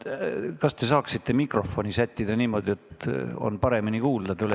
Kas te saaksite mikrofoni sättida niimoodi, et on paremini kuulda?